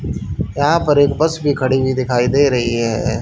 यहा पर एक बस भी खड़ी हुई दिखाई दे रही है ए ए--